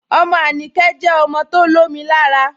Ọmọ Anikẹ̀ jẹ ọmọ tó lọ̀mì làárà.